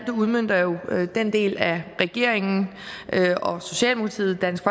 udmønter jo den del af regeringen socialdemokratiet dansk